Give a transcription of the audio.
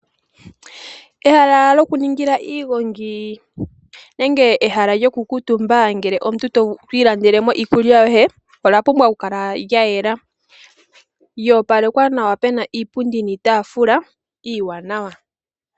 Ehala lyokuningila iigongi nenge ehala lyokukuutumba ngele omuntu wi ilandela iikulya yoye, olya pumbwa okukala lya yela, lyoopalekwa nawa puna iipundi niitaafula iiwanawa.